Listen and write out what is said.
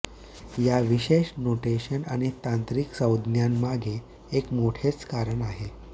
या विशेष नोटेशन आणि तांत्रिक संज्ञांमागे एक मोठेच कारण आहे